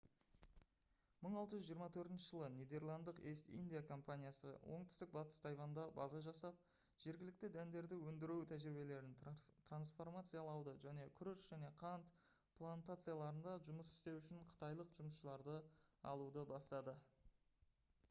1624 жылы нидерландтық east india компаниясы оңтүстік батыс тайваньда база жасап жергілікті дәндерді өндіру тәжірибелерін трансформациялауды және күріш және қант плантацияларында жұмыс істеу үшін қытайлық жұмысшыларды алуды бастады